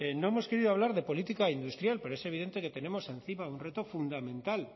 no hemos querido hablar de política industrial pero es evidente que tenemos encima un reto fundamental